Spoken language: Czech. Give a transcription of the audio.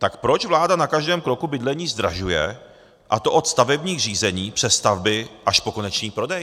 Tak proč vláda na každém kroku bydlení zdražuje, a to od stavebních řízení přes stavby až po konečný prodej?